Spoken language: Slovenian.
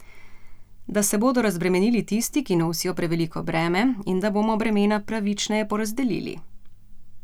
Da se bodo razbremenili tisti, ki nosijo preveliko breme, in da bomo bremena pravičneje porazdelili.